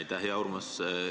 Aitäh, hea Urmas!